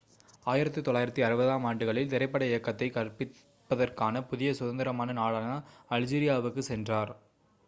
1960-ஆம் ஆண்டுகளில் திரைப்பட இயக்கத்தைக் கற்பிப்பதற்கான புதிய சுதந்திரமான நாடான அல்ஜீரியாவுக்குச் சென்றார்